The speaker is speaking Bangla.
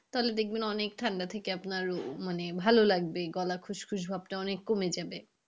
তাহলে দেখবেন অনেক ঠান্ডা থেকে আপনার উম মানে ভালো লাগবে। গলা খুশখুশ ভাবটা অনেক কমে যাবে।